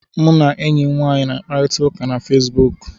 M na enyi m nwaanyị na-akparịta ụka na Fesibuku